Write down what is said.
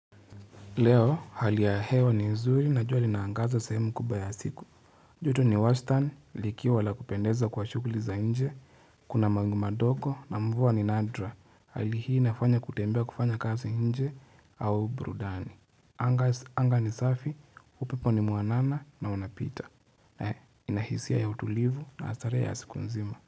Leo hali ya hewa ni nzuri na jua linaangaza sehemu kubwa ya siku. Joto ni Wastan likiwa la kupendeza kwa shughuli za nje. Kuna mawingu madogo na mvua ni nadra. Hali hii nafanya kutembea kufanya kazi nje au burudani. Anga ni safi, upepo ni mwanana na unapita. He, inahisia ya utulivu na asare ya siku nzima.